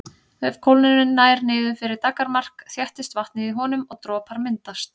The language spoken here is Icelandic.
Ef kólnunin nær niður fyrir daggarmark þéttist vatnið í honum og dropar myndast.